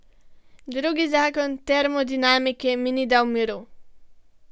Drugi zakon termodinamike mi ni dal miru.